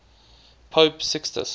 pope sixtus